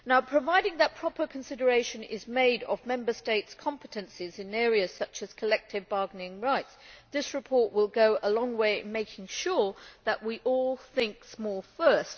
Providing that proper consideration is made of Member States' competences in areas such as collective bargaining rights, this report will go a long way towards making sure that we all think small first.